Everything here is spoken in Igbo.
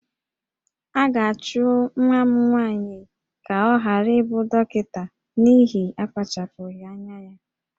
A ga-achụ nwa m nwaanyị ka ọ ghara ịbụ dọkịta n'ihi akpachapụghị anya ya